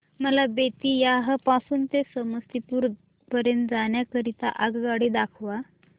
मला बेत्तीयाह पासून ते समस्तीपुर पर्यंत जाण्या करीता आगगाडी दाखवा